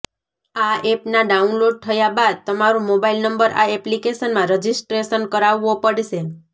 આ એપના ડાઉનલોડ થયા બાદ તમારો મોબાઇલ નંબર આ એપ્લીકેશનમાં રજીસ્ટ્રેશન કરાવવો પડશે